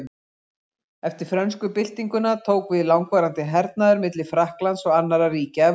Eftir frönsku byltinguna tók við langvarandi hernaður milli Frakklands og annarra ríkja Evrópu.